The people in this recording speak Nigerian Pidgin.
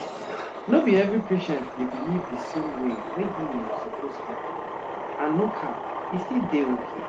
no be every patient dey believe di same way wey healing suppose happen and no cap e still dey okay